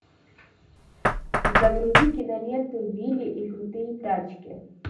загрузи киноленту вилли и крутые тачки